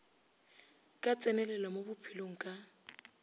ka tsenelelo mo bophelong ka